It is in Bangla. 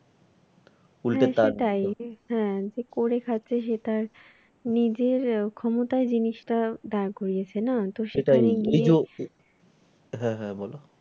হ্যাঁ হ্যাঁ বলো